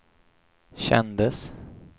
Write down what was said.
kändes